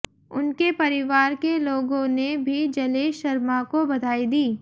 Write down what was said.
उनके परिवार के लोगों ने भी जलेश शर्मा को बधाई दी